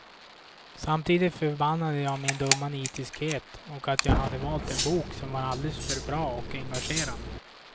Samtidigt förbannade jag min dumma nitiskhet och att jag hade valt en bok som var alldeles för bra och engagerande.